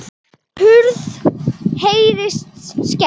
Hurð heyrist skellt.